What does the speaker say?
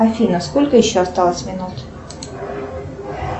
афина сколько еще осталось минут